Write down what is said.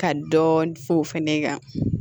Ka dɔɔnin f'o fɛnɛ ye ka